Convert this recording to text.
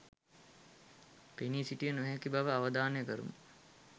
පෙනී සිටිය නොහැකි බව අවධානය කරමු